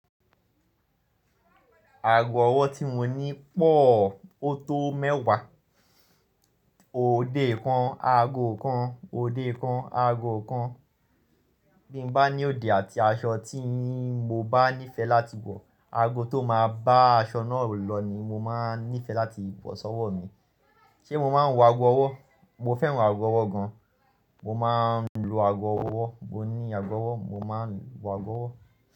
Aago ọwọ́ tí mo ní pọ̀ ó tó mẹ́wàá. Òde kan, aago kan, òde kan, aago kan. Bí mo bá ní òde àti aṣọ tí mo bá nífẹ̀ẹ́ láti wọ̀, aago tó máa bá aṣọ náà lọ ni mo máa nífẹ̀ẹ́ láti wọ̀ sọ́wọ́ mi. Ṣé mo máa ń wọ àgọ̀ ọwọ́? Mo fẹ́ràn aago ọwọ́ gan. Mo máa ń lo aago ọwọ́. Mo ní aago ọwọ́. Mo máa ń wọ àgọ̀ ọwọ́